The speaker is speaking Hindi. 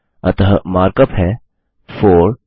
अतः मार्कअप है160 4